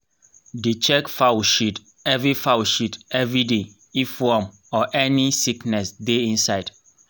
dey check fowl shit every fowl shit every day if worm or any sickness dey inside